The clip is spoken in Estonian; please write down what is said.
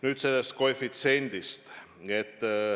Nüüd sellest koefitsiendist.